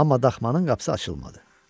Amma daxmanın qapısı açılmadı.